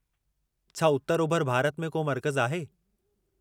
छा उत्तर-ओभिर भारत में को मर्कज़ु आहे?